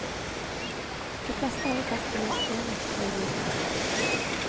De fleste har jo plass til minst én ekstra i bilen.